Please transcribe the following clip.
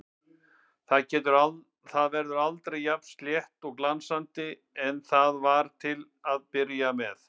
Það verður aldrei jafn slétt og glansandi og það var til að byrja með.